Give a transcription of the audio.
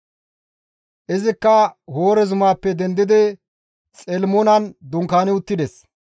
Derezikka Hoore zumaappe dendidi Xelimonan dunkaani uttida.